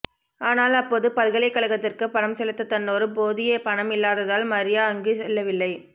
ஆனால் அப்போது பல்கலைகழகத்திற்கு பணம் செலுத்த தன்னோடு போதிய பணம் இல்லாததால் மரியா அங்கு செல்லவில்லை